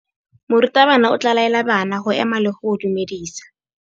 Morutabana o tla laela bana go ema le go go dumedisa.